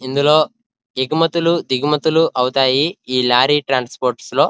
ఇందులో ఎగుమతులు దిగుమతులు అవుతాయి. ఈ లారీ ట్రాన్స్పోర్ట్ లో --